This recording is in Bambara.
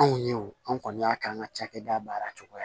Anw ye wo an kɔni y'a k'an ka cakɛda baara cogoya ye